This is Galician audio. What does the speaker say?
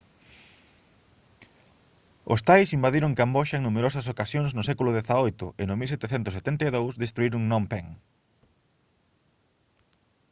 os thais invadiron camboxa en numerosas ocasións no século xviii e no 1772 destruíron phnom phen